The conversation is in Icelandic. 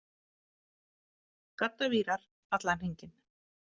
Gaddavírar allan hringinn.